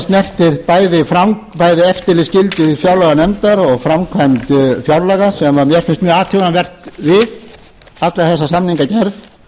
snertir bæði eftirlitsskyldu fjárlaganefndar og framkvæmd fjárlaga sem mér finnst mjög athugavert við alla þessa samningagerð og